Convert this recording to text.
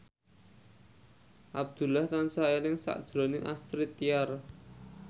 Abdullah tansah eling sakjroning Astrid Tiar